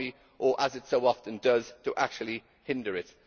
or as it so often does to actually hinder it.